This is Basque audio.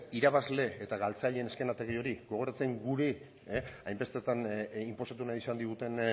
irabazle eta galtzaile eszenatoki hori gogoratzen guri hainbestetan inposatu nahi izan diguten